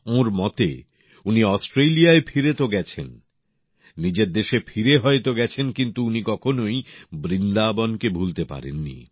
ওঁর মতে উনি অস্ট্রেলিয়ায় ফিরে তো গেছেন নিজের দেশে ফিরে হয়তো গেছেন কিন্তু উনি কখনোই বৃন্দাবনকে ভুলতে পারেননি